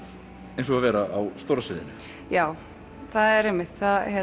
eins og að vera á stóra sviðinu já það er einmitt